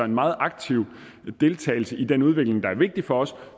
en meget aktiv deltagelse i den udvikling der er vigtigt for os